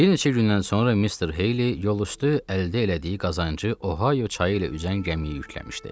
Bir neçə gündən sonra Mister Heyli yoldaşdı əldə elədiyi qazancı Ohio çayı ilə üzən gəmiyə yükləmişdi.